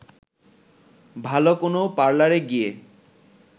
ভালো কোনো পার্লারে গিয়ে